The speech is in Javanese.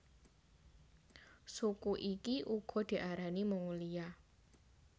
Suku iki uga diarani Mongolia